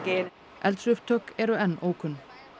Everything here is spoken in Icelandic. eldsupptök eru enn ókunn